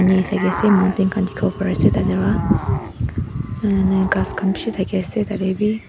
pani thakiase mountain khan dikhiwo pariase tatae pra uuummm ghas khan bishi thakiase tatae bi.